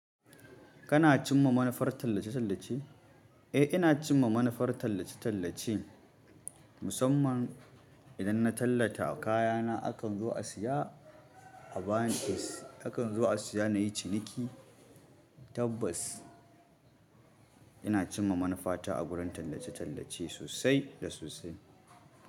Kana cimma manufar tallace-tallace? Eh, ina cimma manufar tallace-tallace, musamman idan na tallata kayana akan zu a siya a bayan bas, akan zuwa siya nayi ciniki. Tabbas ina ce ma manufata a gurin tallace-tallace sosai da sosai.